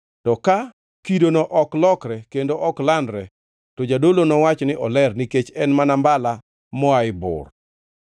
To ka kidono ok lokre kendo ok landre, to jadolo nowach ni oler nikech en mana mbala moa e bur.